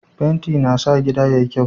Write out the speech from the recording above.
Fenti na sa gida yayi kyau.